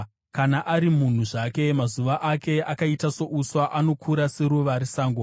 Kana ari munhu zvake, mazuva ake akaita souswa, anokura seruva resango;